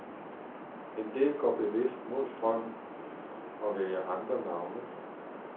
En del går bevidst mod strømmen og vælger andre navne.